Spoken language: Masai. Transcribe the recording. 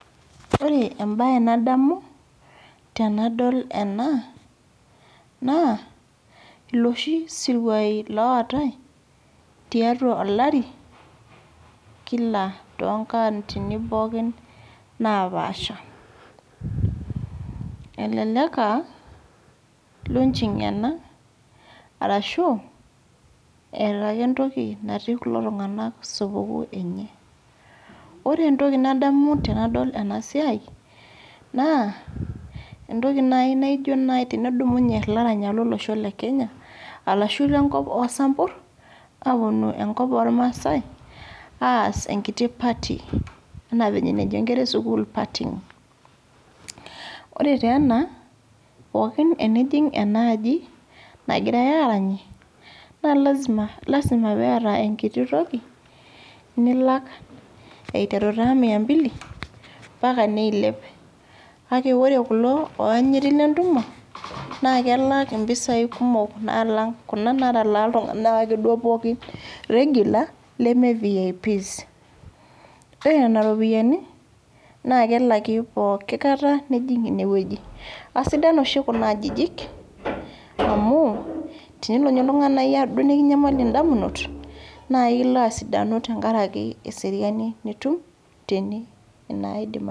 Ore embae nadomu tenadol ena lloshi siruai lootae tiatua olari kila too nkauntini pooki naapasha elelek aah launching ena arrashu eeta ake entoki natii kulo tunganak supukuu tene oree entoki nadamu tenadol ena siai naa entoiki naaji naijo tenedumunye ilaranyak lo losho le kenya arashu le nkop oo sampur aapuonua enkop oo rmasai aas enkiti party ena enajo nkerra ee sukul partying pooki tenijing ena aji nagirae arany naa lasima pee etae enkiti toki nilak eiteru taa Mia mbili mpaka neilep kake ore kulo oanyiti le ntumo naa kelak mpisai kumok naa alang kuna ekeduo natalaa ake duo ltunganak kulie regular leme Vips ore nena ropiyiani naa kelaki pooki kata nijing inewueji keisidan oshi kuna ajijik tenelo ninye nikinyamal ndamunot naa ilo asidanu tenkarek eseriani nitum tene